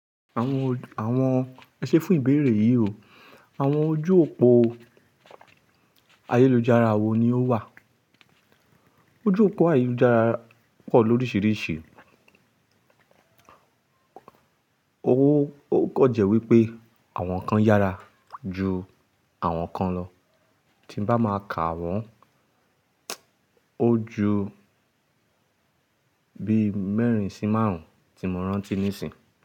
Àwọn, àwọn ẹ ṣé fún ìbéèrè yí o. Àwọn ojú òpó ayélujára wo ni ó wà? Ojú òpó ayélujára pọ̀ lórísìírísìí, ó kàn jẹ́ wípé àwọn kan yára ju àwọn kan lọ. Tí n bá máa kàwọ́n, ó ju bí mẹ́rin sí márùn-ún tí mo rántí nísìnyí.